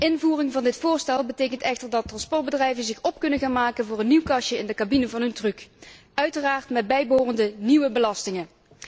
Invoering van dit voorstel betekent echter dat transportbedrijven zich kunnen voorbereiden op een nieuw kastje in de cabine van hun truck, uiteraard met bijbehorende nieuwe belastingen.